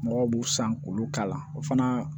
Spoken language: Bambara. Mɔgɔw b'u san k'olu k'a la o fana